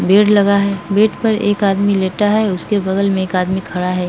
Bed लगा है। Bed पर एक आदमी लेटा है। उसके बगल में एक आदमी खड़ा है।